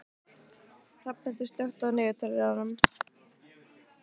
Hrafnhildur, slökktu á niðurteljaranum.